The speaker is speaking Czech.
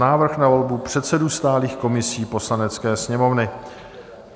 Návrh na volbu předsedů stálých komisí Poslanecké sněmovny